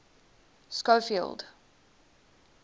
schofield